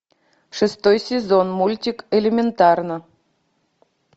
шестой сезон мультик элементарно